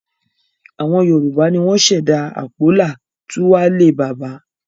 Àwọn Yorùbá ni wọ́n ṣẹ̀dá àpólà 'túwálè bàbá'